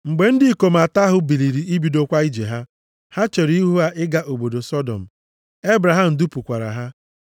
Mgbe ndị ikom atọ ahụ biliri ibidokwa ije ha, ha chere ihu ịga obodo Sọdọm, + 18:16 Ọnọdụ obodo Sọdọm agbanwebeghị, ọ bụladị ugbu a, ọ ka dị na ndịda akụkụ osimiri Nwụrụ anwụ nke bụkwa osimiri Nnu. Ebraham dupụkwara ha.